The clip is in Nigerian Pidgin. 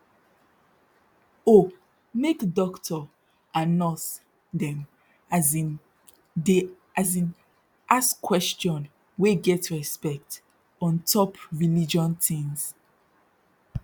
oh make dokto and nurse dem as in dey as in ask question wey get respect ontop religion tins